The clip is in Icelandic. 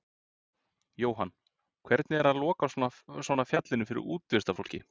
Jóhann: Hvernig er að loka svona fjallinu fyrir útivistarfólki?